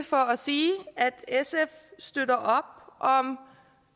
for at sige at sf støtter op om